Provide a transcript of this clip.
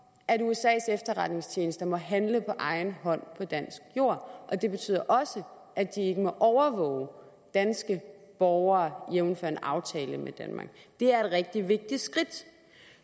at usas efterretningstjenester må handle på egen hånd på dansk jord og det betyder også at de ikke må overvåge danske borgere jævnfør en aftale med danmark det er et rigtig vigtigt skridt